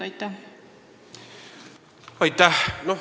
Aitäh!